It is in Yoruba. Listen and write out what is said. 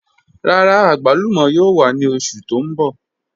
Rárá, agbàlùmọ̀ yóò wà ni oṣù tó n bọ̀.